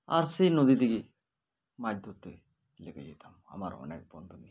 আসছে নদীতে গিয়ে মাছ ধরতে লেগে যেতাম আমার অনেক বন্ধু নিয়ে